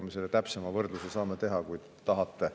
Me selle täpsema võrdluse saame teha, kui tahate.